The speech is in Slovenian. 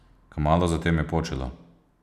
Kmalu zatem je počilo.